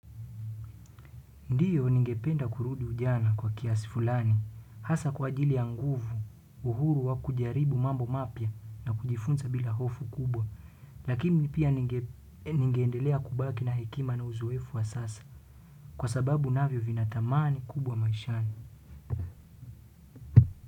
Ndiyo ningependa kurudi ujana kwa kiasi fulani, hasa kwa ajili ya nguvu, uhuru wa kujaribu mambo mapya na kujifunza bila hofu kubwa, lakini pia ningeendelea kubaki na hekima na uzoefu wa sasa, kwa sababu navyo vinatamani kubwa maishani.